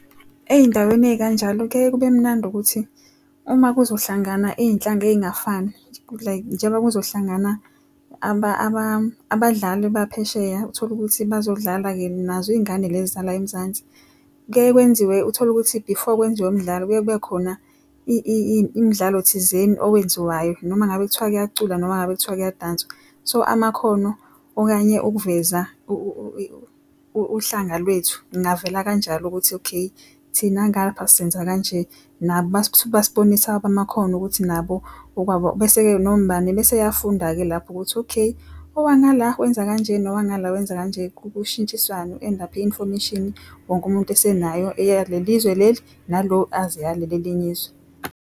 Ey'ndaweni ey'kanjalo kuyaye kube mnandi ukuthi, uma kuzohlangana iy'nhlanga ey'ngafani like njengoba kuzohlangana abadlali baphesheya utholukuthi bazodlala-ke nazo iy'ngane lezi zala eMzansi. Kuya kwenziwe utholukuthi before kwenziwe imidlalo, kuye kube khona imidlalo thizeni owenziwayo. Noma ngabe kuthiwa kuyaculwa noma ngabe kuthiwa kuyadanswa. So amakhono okanye ukuveza uhlanga lwethu, kungavela kanjalo ukuthi okay thina ngapha senza kanje. Nabo basibonisa awabo amakhono ukuthi nabo okwabo. Bese-ke noma ubani beseyafunda-ke lapho ukuthi okay, owangala wenza kanje nowangala wenza kanje. Kushintsiswane u-end up-e i-information wonke umuntu esenayo eyale lizwe leli, nalo azi eyaleli elinye izwe.